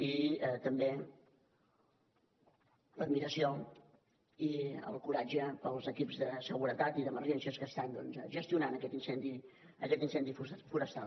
i també l’admiració i el coratge pels equips de seguretat i d’emergències que estan doncs gestionant aquest incendi forestal